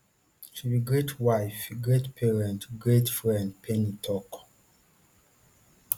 she be great wife great parent great friend payne tok